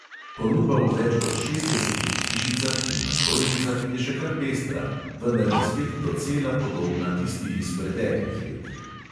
Ponudba v več kot šestdesetih hišicah in na stojnicah je še kar pestra, vendar je spet docela podobna tisti iz preteklih let.